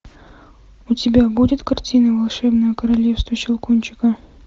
у тебя будет картина волшебное королевство щелкунчика